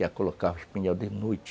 Ia colocar o espinhel de noite.